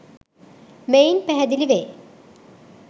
මෙයින් පැහැදිලි වේ.